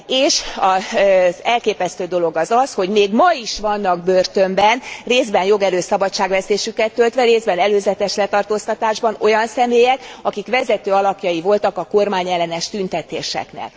És az elképesztő dolog az az, hogy még ma is vannak börtönben, részben jogerős szabadságvesztésüket töltve, részben előzetes letartóztatásban olyan személyek, akik vezető alakjai voltak a kormányellenes tüntetéseknek.